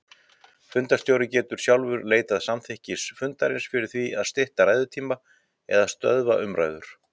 Fundarstjóri getur sjálfur leitað samþykkis fundarins fyrir því að stytta ræðutíma eða stöðva umræður.